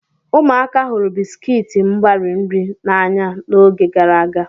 Ụmụaka hụrụ bisikiiti mgbari nri n'anya n'oge gara aga.